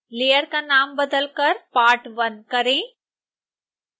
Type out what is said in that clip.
layer का नाम बदलकर part1 करें